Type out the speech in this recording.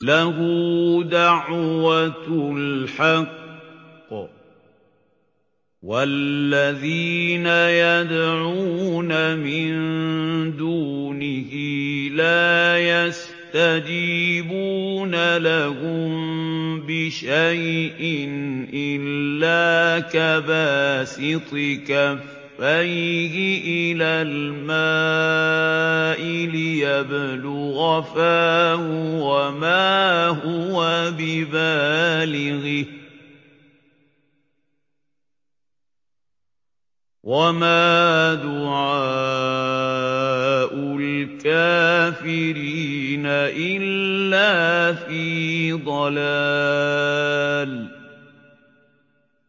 لَهُ دَعْوَةُ الْحَقِّ ۖ وَالَّذِينَ يَدْعُونَ مِن دُونِهِ لَا يَسْتَجِيبُونَ لَهُم بِشَيْءٍ إِلَّا كَبَاسِطِ كَفَّيْهِ إِلَى الْمَاءِ لِيَبْلُغَ فَاهُ وَمَا هُوَ بِبَالِغِهِ ۚ وَمَا دُعَاءُ الْكَافِرِينَ إِلَّا فِي ضَلَالٍ